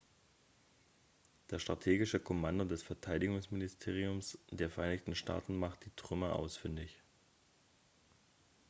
das strategische kommando des verteidigungsministeriums der vereinigten staaten macht die trümmer ausfindig